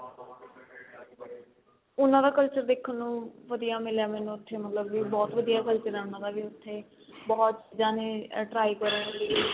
ਉਨਾ ਦਾ culture ਦੇਖਣ ਨੂੰ ਵਧੀਆ ਮਿਲਿਆ ਮੈਨੂੰ ਮਤਲਬ ਬਹੁਤ ਵਧੀਆ culture ਏ ਉਹਨਾ ਦਾ ਵੀ ਉੱਥੇ ਬਹੁਤ ਚੀਜ਼ਾਂ ਨੇ try ਕਰਨ ਲਈ